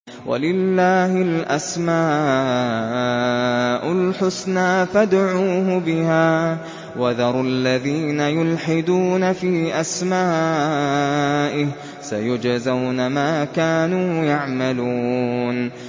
وَلِلَّهِ الْأَسْمَاءُ الْحُسْنَىٰ فَادْعُوهُ بِهَا ۖ وَذَرُوا الَّذِينَ يُلْحِدُونَ فِي أَسْمَائِهِ ۚ سَيُجْزَوْنَ مَا كَانُوا يَعْمَلُونَ